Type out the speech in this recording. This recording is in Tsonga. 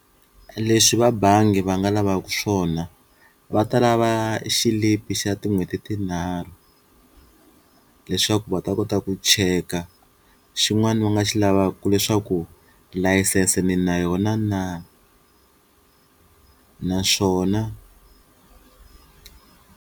Leswi va bangi va nga lavaka swona va ta lava xilipi xa tin'hweti tinharhu leswaku va ta kota ku cheka, xin'wana va nga xi lavaka i leswaku layisense ni na yona na naswona.